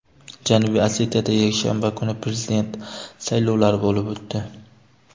Janubiy Osetiyada yakshanba kuni prezident saylovlari bo‘lib o‘tdi.